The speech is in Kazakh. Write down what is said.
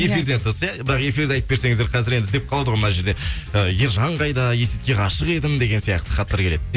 бірақ эфирді айтып берсеңіздер қазір енді іздеп қалады мына жерде э ержан қайда есетке ғашық едім деген сияқты хаттар келеді